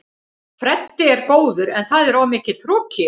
Freddi er góður en það er of mikill hroki í honum.